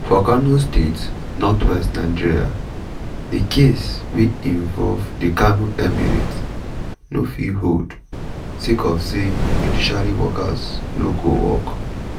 for kano state north west nigeria di case wey involve di kano emirate no fit hold sake of say judiciary workers no go work.